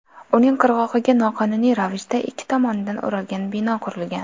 Uning qirg‘og‘iga noqonuniy ravishda ikki tomonidan o‘ralgan bino qurilgan.